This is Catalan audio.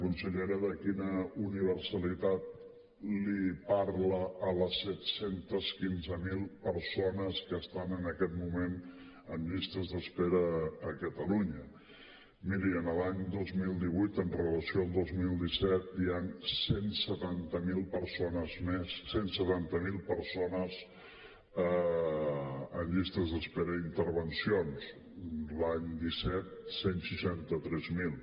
consellera de quina universalitat els parla a les set cents i quinze mil persones que estan en aquest moment en llistes d’espera a catalunya miri l’any dos mil divuit en relació amb el dos mil disset hi han cent i setanta miler persones més cent i setanta miler persones en llistes d’espera d’intervencions l’any disset cent i seixanta tres mil